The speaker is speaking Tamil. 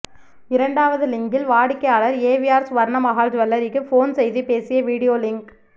இரண்டாவது லிங்கில் வாடிக்கையாளர் ஏவிஆர் ஸ்வர்ணமஹால் ஜுவல்லரிக்கு ஃபோன் செய்து பேசிய வீடியோ லிங்க்